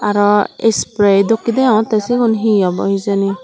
aro spray dokkey degongottey sigun hi obow hijeni.